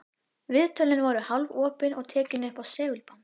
Viðtölin voru hálfopin og tekin upp á segulband.